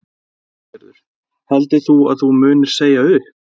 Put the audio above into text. Lillý Valgerður: Heldur þú að þú munir segja upp?